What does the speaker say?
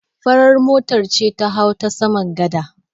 Farar mota ce ta hau ta saman gada.